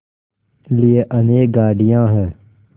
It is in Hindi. लिए अनेक गाड़ियाँ हैं